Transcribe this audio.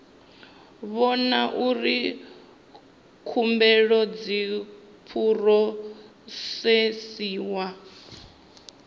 vhona uri khumbelo dzi phurosesiwa